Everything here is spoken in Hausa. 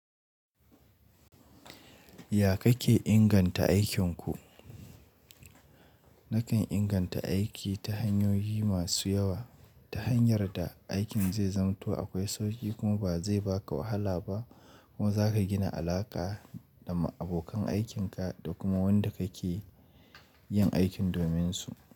Ya kake inganta aikinku? Nakan inganta aiki ta hanyoyi masu yawa. Ta hanyar da aikin zai zanto akwai sauƙi kuma ba zai baka wahala ba kuma zaka gina alaƙa da abokan aikinka da kuma wanda ka ke yin aikin dominsu.